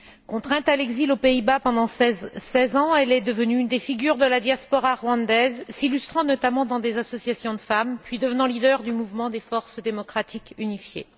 Contrainte à l'exil aux Pays Bas pendant 16 ans, elle est devenue une des figures de la diaspora rwandaise, s'illustrant notamment dans des associations de femmes, puis devenant leader du Mouvement des forces démocratiques unifiées.